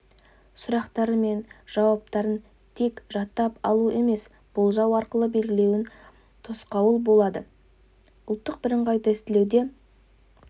сұрақтары мен жауаптарын тек жаттап алу немесе болжау арқылы белгілеуіне тосқауыл болады ұлттық бірыңғай тестілеуде